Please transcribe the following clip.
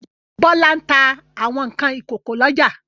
Bọ́lá ń ta àwọn nǹkan ìkókó lọ́jà.